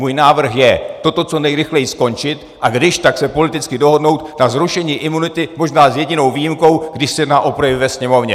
Můj návrh je toto co nejrychleji skončit a když tak se politicky dohodnout na zrušení imunity, možná s jedinou výjimkou, když se jedná o projevy ve Sněmovně.